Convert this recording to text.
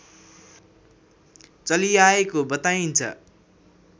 चलिआएको बताइन्छ